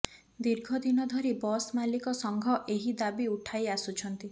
ଦୀର୍ଘ ଦିନ ଧରି ବସ୍ ମାଲିକ ସଂଘ ଏହି ଦାବି ଉଠାଇ ଆସୁଛନ୍ତି